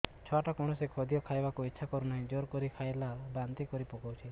ଛୁଆ ଟା କୌଣସି ଖଦୀୟ ଖାଇବାକୁ ଈଛା କରୁନାହିଁ ଜୋର କରି ଖାଇଲା ବାନ୍ତି କରି ପକଉଛି